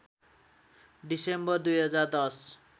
December २०१०